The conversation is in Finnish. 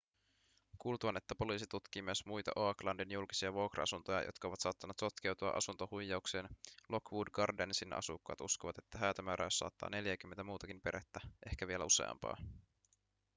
kuultuaan että poliisi tutkii myös muita oaklandin julkisia vuokra-asuntoja jotka ovat saattaneet sotkeutua asuntohuijaukseen lockwood gardensin asukkaat uskovat että häätömääräys saattaa neljääkymmentä muutakin perhettä ehkä vielä useampaa